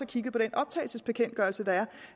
kigget på den optagelsesbekendtgørelse der